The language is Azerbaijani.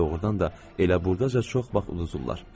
Doğrudan da elə burdaca çox vaxt udurdular.